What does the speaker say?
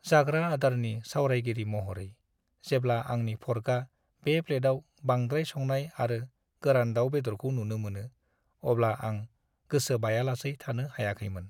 जाग्रा आदारनि सावरायगिरि महरै, जेब्ला आंनि फर्कआ बे प्लेटआव बांद्राय संनाय आरो गोरान दाउ-बेदरखौ थुनो मोनो, अब्ला आं गोसो बायालासै थानो हायाखैमोन।